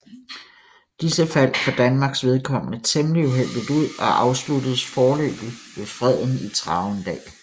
Disse faldt for Danmarks vedkommende temmelig uheldigt ud og afsluttedes foreløbig ved freden i Travendal